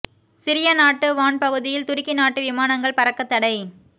Syria நாட்டு வான் பகுதியில் துருக்கி நாட்டு விமானங்கள் பறக்க தடை